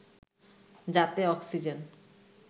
যাতে অক্সিজেন